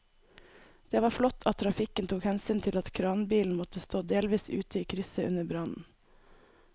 Det var flott at trafikken tok hensyn til at kranbilen måtte stå delvis ute i krysset under brannen.